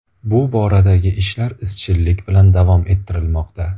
Bu boradagi ishlar izchillik bilan davom ettirilmoqda.